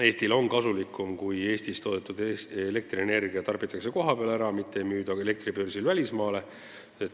Eestile on kasulikum, kui Eestis toodetud elektrienergia tarbitakse kohapeal ära, mitte ei müüda elektribörsil välismaale.